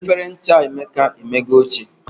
Efere ncha Emeka e emego ochie